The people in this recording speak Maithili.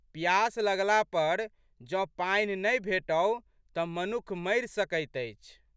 पियास लगला पर जौं पानि नहि भेटौ तऽ मनुख मरि सकैत अछि।